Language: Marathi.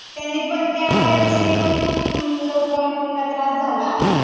त्याने पण त्या व्हायरस ने पण खुप लोकांना त्रास झाला